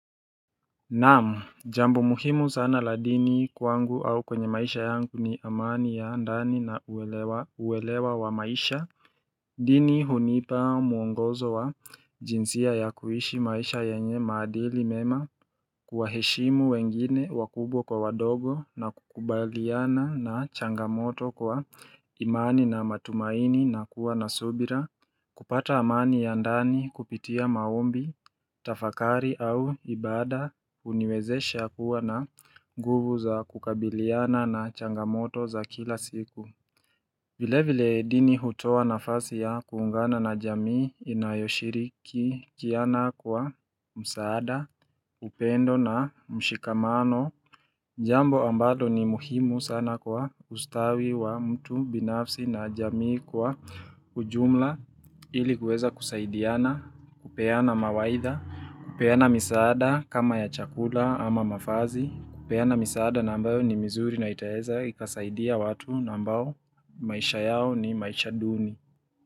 Naam, jambo muhimu sana la dini kwangu au kwenye maisha yangu ni amani ya ndani na uelewa wa maisha dini hunipa muongozo wa jinsia ya kuishi maisha yenye maadili mema kuwa heshimu wengine wakubwa kwa wadogo na kukubaliana na changamoto kwa imani na matumaini na kuwa nasubira kupata amani ya ndani kupitia maombi, tafakari au ibada, uniwezesha kuwa na nguvu za kukabiliana na changamoto za kila siku. Vile vile dini hutoa na fasi ya kuungana na jamii inayoshiri ki kiana kwa msaada, upendo na mshikamano. Jambo ambalo ni muhimu sana kwa ustawi wa mtu, binafsi na jamii kwa ujumla ilikuweza kusaidiana, kupeana mawaitha, kupeana misaada kama ya chakula ama mavazi, kupeana misaada na ambayo ni mizuri na itaeza ikasaidia watu na ambao maisha yao ni maisha duni.